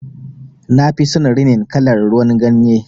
Nafi son rinin kalar ruwan ganye.